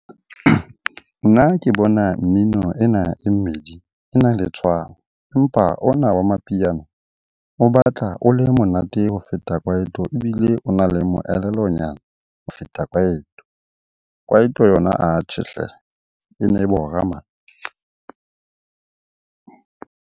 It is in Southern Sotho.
Nna ke bona mmino ena e mmedi e na le tshwano. Empa ona wa mapiano o batla o le monate ho feta Kwaito ebile o na le moelelo nyana ho feta Kwaito. Kwaito yona atjhe hle, e ne bora .